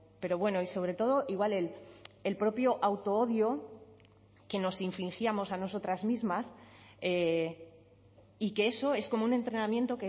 pero bueno y sobre todo igual en el propio auto odio que nos infringíamos a nosotras mismas y que eso es como un entrenamiento